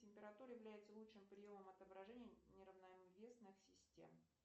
температура является лучшим приемом отображения неравновесных систем